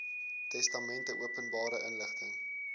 testamente openbare inligting